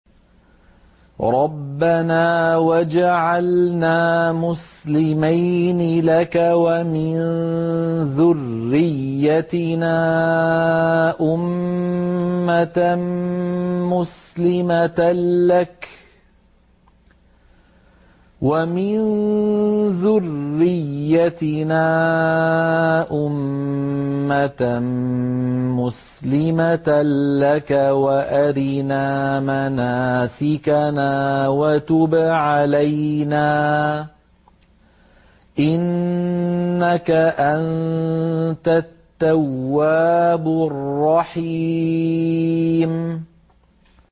رَبَّنَا وَاجْعَلْنَا مُسْلِمَيْنِ لَكَ وَمِن ذُرِّيَّتِنَا أُمَّةً مُّسْلِمَةً لَّكَ وَأَرِنَا مَنَاسِكَنَا وَتُبْ عَلَيْنَا ۖ إِنَّكَ أَنتَ التَّوَّابُ الرَّحِيمُ